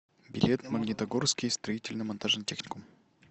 билет магнитогорский строительно монтажный техникум